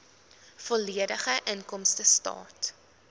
volledige inkomstestaat